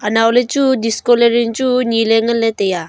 anow le chu disco lering chu nye ley ngan le tai a.